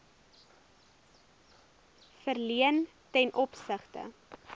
verleen ten opsigte